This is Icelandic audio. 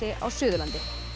á Suðurlandi